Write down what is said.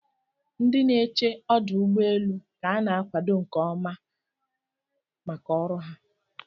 Ndị na eche ọdọugbọeelu' ka ana akwado nke ọma aka ọrụ ha